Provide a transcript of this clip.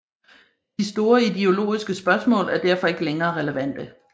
De store ideologiske spørgsmål er derfor ikke længere relevante